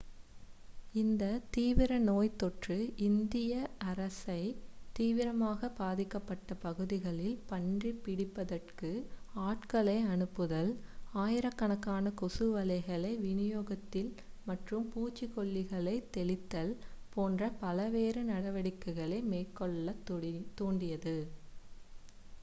இந்த தீவிர நோய் தொற்று இந்திய அரசை தீவிரமாக பாதிக்கப்பட்ட பகுதிகளில் பன்றி பிடிபதற்கு ஆட்களை அனுப்புதல் ஆயிரக்கணக்கான கொசு வலைகளை விநியோகித்தல் மற்றும் பூச்சிக்கொல்லிகளை தெளித்தல் போன்ற பல்வேறு நடவடிக்கைகளை மேற்கொள்ளத் தூண்டியது